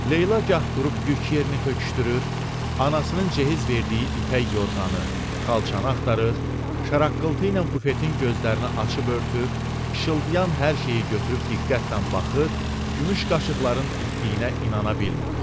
Leyla gah durub yük yerini töküşdürür, anasının ceyiz verdiyi ipək yorğanı, xalçanı axtarır, şaraqqıltı ilə bufetin gözlərini açıb örtür, işıldayan hər şeyi götürüb diqqətlə baxır, gümüş qaşıqların itdüyünə inana bilmirdi.